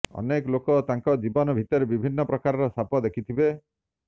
ଅନେକ ଲୋକ ତାଙ୍କ ଜୀବନ ଭିତରେ ବିଭିନ୍ନ ପ୍ରକାର ସାପ ଦେଖିଥିବେ